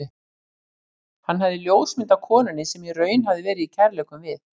Hann hafði ljósmynd af konunni, sem í raun hafði verið í kærleikum við